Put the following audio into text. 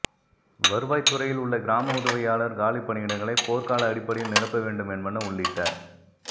வருவாய்த் துறையில் உள்ள கிராம உதவியாளா் காலிப் பணியிடங்களை போா்கால அடிப்படையில் நிரப்ப வேண்டும் என்பன உள்ளிட்ட